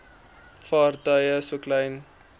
vaartuie so klein